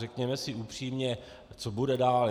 Řekněme si upřímně, co bude dál?